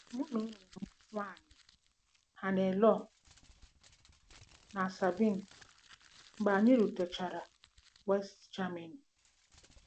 Mụ na ụmụ m nwanyị Hannelore na Sabine mgbe anyị rutechara West Germany